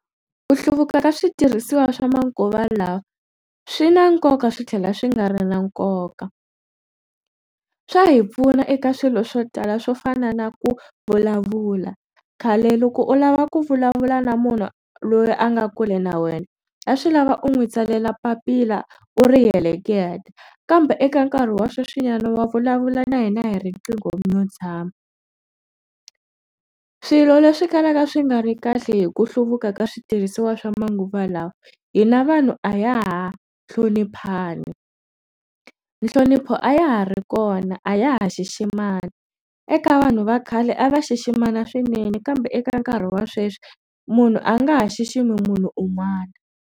Ku hluvuka ka switirhisiwa swa manguva lawa swi na nkoka swi tlhela swi nga ri na nkoka swa hi pfuna eka swilo swo tala swo fana na ku vulavula khale loko u lava ku vulavula na munhu loyi a nga kule na wena a swi lava u n'wi tsalela papila u ri heleketa kambe eka nkarhi wa sweswi nyana wa vulavula na hina hi riqingho i lo tshama swilo leswi kalaka swi nga ri kahle hi ku hluvuka ka switirhisiwa swa manguva lawa hina vanhu a ya ha hloniphani nhlonipho a ya ha ri kona a ya ha xiximana eka vanhu va khale a va xiximana swinene kambe eka nkarhi wa sweswi munhu a nga ha xiximi munhu un'wana.